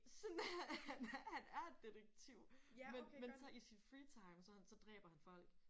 Sådan han han er detektiv men men så i sin free time sådan så dræber han folk